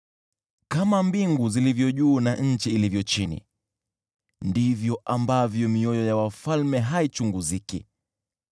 Kama mbingu zilivyo juu na nchi ilivyo chini, ndivyo ambavyo mioyo ya wafalme haichunguziki.